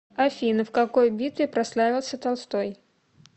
афина в какой битве прославился толстой